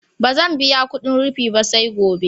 Ba zan biya kudin rufi ba, sai gobe